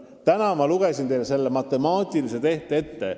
Täna ma lugesin teile need arvud ette.